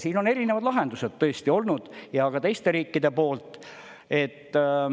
Siin on erinevad lahendused tõesti olnud ja ka teiste riikide poolt.